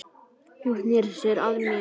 Hún sneri sér að mér.